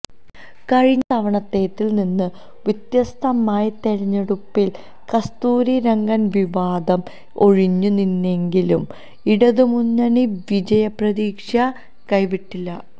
കഴിഞ്ഞ തവണത്തേതിൽ നിന്ന് വ്യത്യസ്തമായി തെരഞ്ഞെടുപ്പിൽ കസ്തൂരി രംഗൻ വിവാദം ഒഴിഞ്ഞ് നിന്നെങ്കിലും ഇടതുമുന്നണി വിജയ പ്രതീക്ഷ കൈവിട്ടില്ല